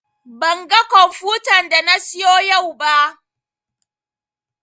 Ban ga komfutan da na siyo yau ba